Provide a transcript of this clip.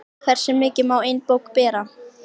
Hversu mikið má ein bók bera?